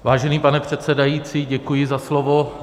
Vážený pane předsedající, děkuji za slovo.